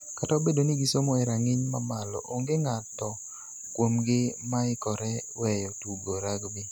Kata obedo ni gisomo e rang'iny mamalo, onge ng'ato kuomgi moikore weyo tugo rugby.